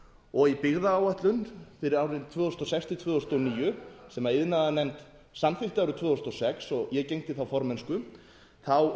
og í byggðaáætlun fyrir árin tvö þúsund og sex til tvö þúsund og níu sem iðnaðarnefnd samþykkti árið tvö þúsund og sex og ég gegndi þá formennsku þá